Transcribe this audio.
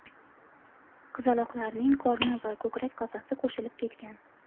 Qizaloqlarning qorni va ko‘krak qafasi qo‘shilib ketgan.